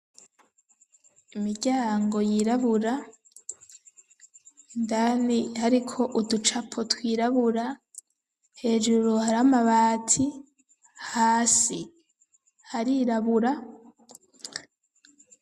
Imiryango yirabura, indani hariko uducapo twirabura, hejuru hari amabati, hasi harirabura.